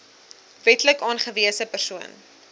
wetlik aangewese persoon